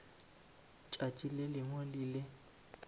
tšatši le lengwe le le